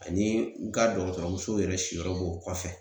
Ani nga dɔgɔtɔrɔmusow yɛrɛ siyɔrɔ b'o kɔfɛ